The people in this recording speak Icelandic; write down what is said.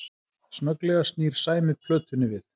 Snögglega snýr Sæmi plötunni við